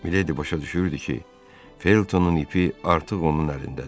Miledi başa düşürdü ki, Feltonun ipi artıq onun əlindədir.